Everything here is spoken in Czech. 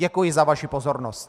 Děkuji za vaši pozornost.